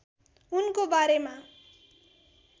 उनको बारेमा